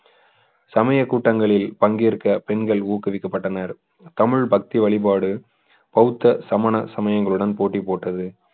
சமய கூட்டங்களில் பங்கேற்க பெண்கள் ஊக்குவிக்கப்பட்டனர் தமிழ் பக்தி வழிபாடு பௌத்த சமண சமயங்களுடன் போட்டி போட்டது